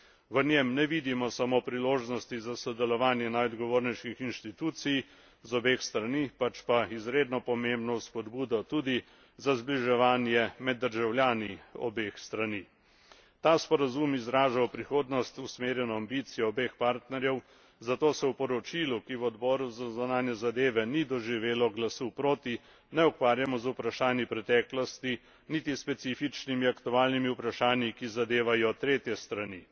V njem ne vidimo samo priložnosti za sodelovanje najodgovornejših inštitucij z obeh strani, pač pa izredno pomembno spodbudo tudi za zbliževanje med državljani obeh strani. Ta sporazum izraža v prihodnost usmerjeno ambicijo obeh partnerjev, zato se v poročilu, ki v Odboru za zunanje zadeve ni doživelo glasu proti, ne ukvarjamo z vprašanji preteklosti, niti s specifičnimi aktualnimi vprašanji, ki zadevajo tretje strani.